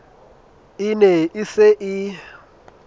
e ne e se e